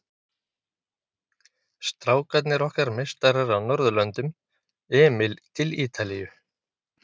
Strákarnir okkar meistarar á norðurlöndum, Emil til Ítalíu.